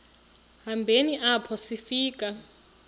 hambeni apho sifika